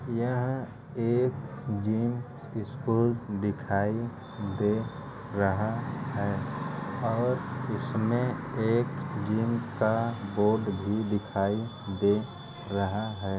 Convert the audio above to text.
यह एक gym school दिखाई दे रहा है और इसमें एक जिम का बोर्ड भी दिखाई दे रहा है।